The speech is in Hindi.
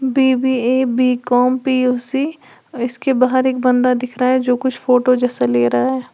वी_वी_ए बीकॉम पी_यू_सी इसके बाहर एक बंदा दिख रहा है जो कुछ फोटो जैसा ले रहा है।